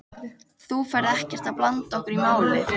Þú ferð ekkert að blanda okkur í málið?